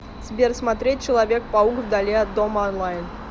сбер смотреть человек паук вдали от дома онлайн